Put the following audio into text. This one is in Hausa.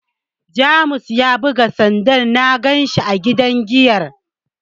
James ya bugu sanda na ganshi a gidan giyar.